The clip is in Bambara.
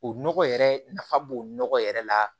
O nɔgɔ yɛrɛ nafa b'o nɔgɔ yɛrɛ la